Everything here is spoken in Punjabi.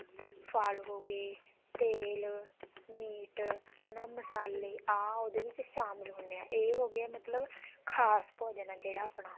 ਫਲ ਹੋਗੇ ਤੇਲ ਮੀਟ ਮਸਾਲੇ ਆਹ ਉਹਦੇ ਵਿੱਚ ਸ਼ਾਮਿਲ ਹੁੰਦੇ ਆ ਇਹ ਹੋਗਿਆ ਮਤਲਬ ਖਾਸ ਭੋਜਨ ਹੈ ਜਿਹੜਾ ਆਪਣਾ